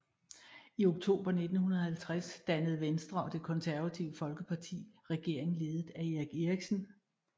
I oktober 1950 dannede Venstre og Det Konservative Folkeparti regering ledet af Erik Eriksen